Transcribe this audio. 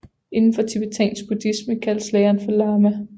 Inden for tibetansk buddhisme kaldes læreren for lama